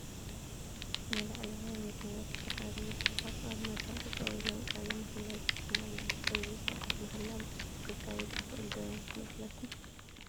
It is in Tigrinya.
ንላዕለዋይ መዝነት ዝተሓረዩ ሰባት ኣብ መድረክ ጠጠው ኢሎም ቃለ ማሕላ ይፍፅሙ ኣለዉ፡፡ እዚ ስርዓት ማሕላ ብፅሑፍ ክካየድ ይኽእል ዶ ይመስለኩም?